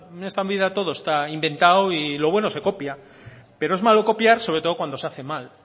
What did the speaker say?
en esta vida todo está inventado y lo bueno se copia pero es malo copiar sobre todo cuando se hace mal